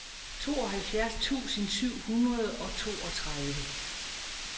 tooghalvfjerds tusind syv hundrede og toogtredive